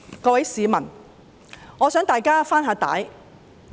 各位市民，我想跟大家回帶看看。